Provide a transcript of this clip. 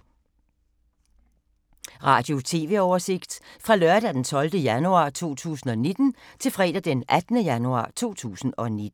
Radio/TV oversigt fra lørdag d. 12. januar 2019 til fredag d. 18. januar 2019